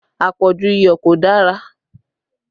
Àpọ̀jù iyọ̀ kò dára